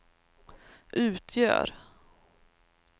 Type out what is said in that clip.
utgör